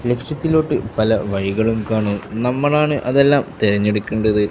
ലക്ഷ്യത്തിലോട്ട് പല വഴികളും കാണും നമ്മളാണ് അതെല്ലാം തിരഞ്ഞെടുക്കേണ്ടത്.